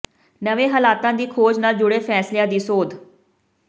ਨਵੇਂ ਹਾਲਾਤਾਂ ਦੀ ਖੋਜ ਨਾਲ ਜੁੜੇ ਫੈਸਲਿਆਂ ਦੀ ਸੋਧ